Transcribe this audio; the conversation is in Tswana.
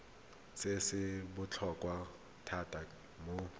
se se botlhokwa thata mo